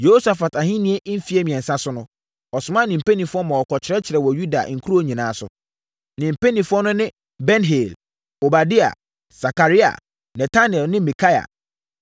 Yehosafat ahennie mfeɛ mmiɛnsa so no, ɔsomaa ne mpanimfoɔ maa wɔkɔkyerɛkyerɛɛ wɔ Yuda nkuro nyinaa so. Ne mpanimfoɔ no ne Ben-Hail, Obadia, Sakaria, Netanel ne Mikaia.